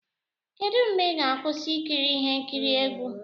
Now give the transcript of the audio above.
Kedu mgbe ị ga-akwụsị ikiri ihe nkiri egwu?